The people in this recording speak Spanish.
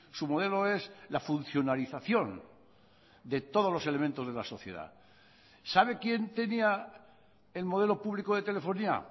su modelo es la funcionalización de todos los elementos de la sociedad sabe quien tenía el modelo público de telefonía